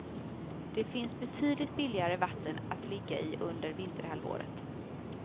Det finns betydligt billigare vatten att ligga i under vinterhalvåret.